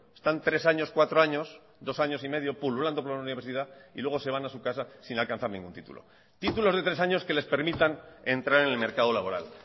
están tres años cuatro años dos años y medio pululando por la universidad y luego se van a su casa sin alcanzar ningún titulo títulos de tres años que les permitan entrar en el mercado laboral